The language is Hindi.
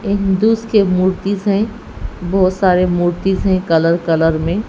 हिंदूस के मूर्तिज हैं बहुत सारे मूर्ति हैं कलर कलर में--